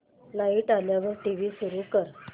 light आल्यावर TV सुरू कर